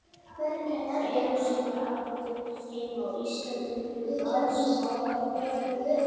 Einu sinni átti heima á Íslandi ungur maður sem ákvað að bjarga jörðinni.